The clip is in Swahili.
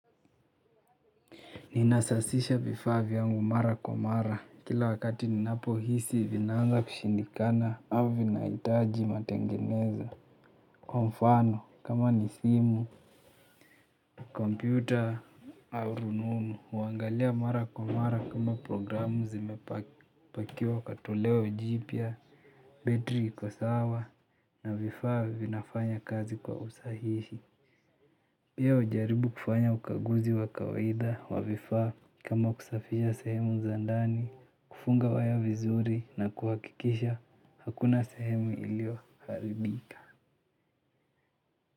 Ninasasisha vifaa vyangu mara kwa mara kila wakati ninapohisi vinaanza kushindikana ama vinahitaji matengenezo. Kwa mfano kama ni simu, kompyuta au rununu, huangalia mara kwa mara kama programu zimepakiwa katolewa jipya, betri iko sawa na vifaa vinafanya kazi kwa usahihi. Pia hujaribu kufanya ukaguzi wa kawaida wa vifaa kama kusafisha sehemu za ndani, kufunga waya vizuri na kuhakikisha hakuna sehemu iliyoharibika.